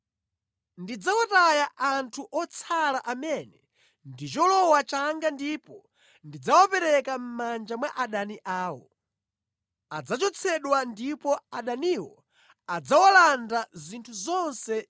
Ndidzawataya anthu otsala amene ndi cholowa changa ndipo ndidzawapereka mʼmanja mwa adani awo. Adzachotsedwa ndipo adaniwo adzawalanda zinthu zonse